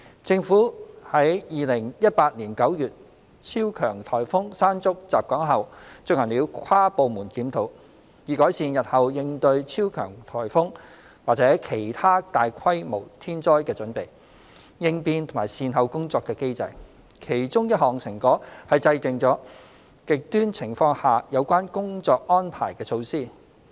政府於2018年9月超強颱風"山竹"襲港後進行了跨部門檢討，以改善日後應對超強颱風或其他大規模天災的準備、應變和善後工作的機制；其中一項成果是制訂了"極端情況"下有關工作安排的措施。